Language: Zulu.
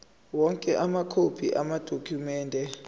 onke amakhophi amadokhumende